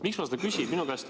Miks ma seda küsin?